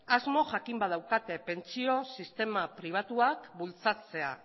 asmo jakin bat daukate pentsio sistema pribatua bultzatzea